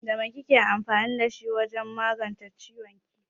Da mai kike amfani wajen magance kawalin ki?